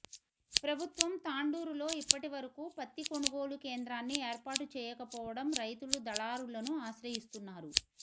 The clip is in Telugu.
ప్రభుత్వం తాండూరులో ఇప్పటి వరకు పత్తి కొనుగోళు కేంద్రాన్ని ఏర్పాటు చేయక పోవడం రైతులు దళారులను ఆశ్రయిస్తున్నారు